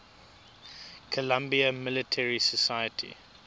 columbia military society